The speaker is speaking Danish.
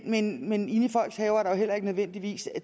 men men inde i folks haver er der jo heller ikke nødvendigvis